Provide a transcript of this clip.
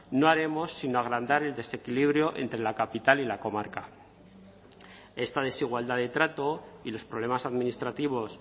no haremos sino agrandar el desequilibrio entre la capital y la comarca esta desigualdad de trato y los problemas administrativos